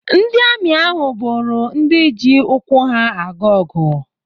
Ndị amị ahụ bụrụ ndị ji ụkwụ ha aga ọgụ.